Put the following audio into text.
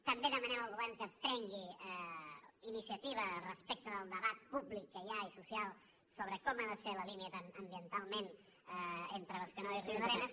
també demanem al govern que prengui iniciativa respecte del debat públic que hi ha i social sobre com ha de ser la línia ambientalment entre bescanó i riudarenes